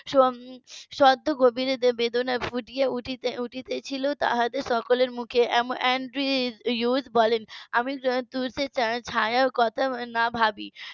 . বেদনা ফুটে উঠছিলো তাদের সকলের মুখে আন্দ্রি উইস বলেন . ছায়ার কথা না ভাবি